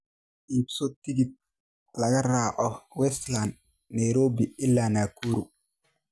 iibso tigidh tareen laga raaco Westlands Nairobi ilaa Nakuru